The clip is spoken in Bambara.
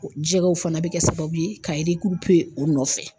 Jɛgɛw fana bɛ kɛ sababu ye ka o nɔfɛ.